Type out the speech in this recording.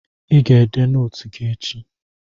Ị ga-ede nootu gị echi.